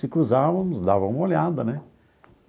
Se cruzávamos, dava uma olhada, né?